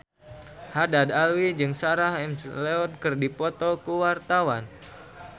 Haddad Alwi jeung Sarah McLeod keur dipoto ku wartawan